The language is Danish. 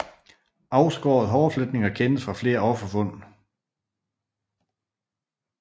Afskårede hårfletninger kendes fra flere offerfund